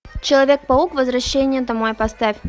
человек паук возвращение домой поставь